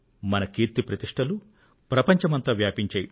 మన కీర్తి ప్రతిష్టలు ప్రపంచమంతా వ్యాపించాయి